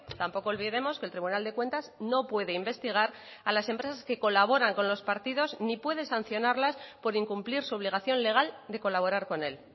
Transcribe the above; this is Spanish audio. tampoco olvidemos que el tribunal de cuentas no puede investigar a las empresas que colaboran con los partidos ni puede sancionarlas por incumplir su obligación legal de colaborar con él